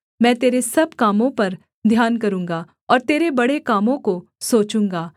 मैं तेरे सब कामों पर ध्यान करूँगा और तेरे बड़े कामों को सोचूँगा